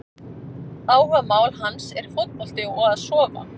Áhugamál hans er fótbolti og að sofa!